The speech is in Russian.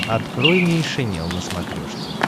открой нейшенел на смотрешке